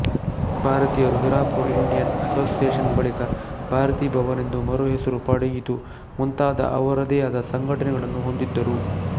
ಭಾರತೀಯರು ಹಿರಾಪುರ್ ಇಂಡಿಯನ್ ಅಸೋಸಿಯೇಷನ್ಬಳಿಕ ಭಾರತಿ ಭವನ್ ಎಂದು ಮರುಹೆಸರು ಪಡೆಯಿತುಮುಂತಾದ ಅವರದೇ ಆದ ಸಂಘಟನೆಗಳನ್ನು ಹೊಂದಿದ್ದರು